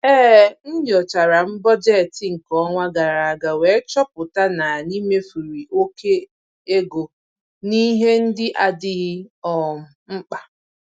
E nyochara m bọjetị nke ọnwa gara aga wee chọpụta n'anyị mefuru oke ego n'ihe ndị n'adịghị um mkpa.